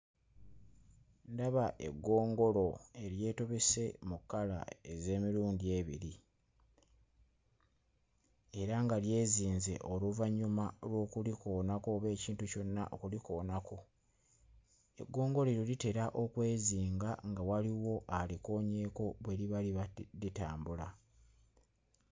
Ndaba eggongolo eryetobese mu kkala ez'emirundi ebiri era nga lyezinge oluvannyuma lw'okulikoonako oba ekintu kyonna okulikoonako. Eggongolo lino litera okwezinga nga waliwo alikoonyeeko bwe liba libadde litambula.